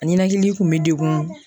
A ninakili kun bɛ degun